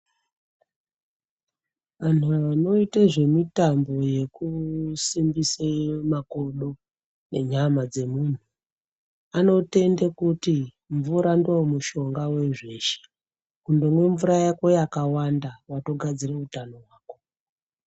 Vantu vanoita zvemitambo yekusimbisa makodo nenyama dzemuviri vanotenda kuti mvura ndomushonga wezveshe kungomwa mvura Yako yakawanda watogadzira utano hwako weshe.